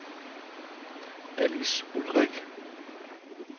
Allis Ulrich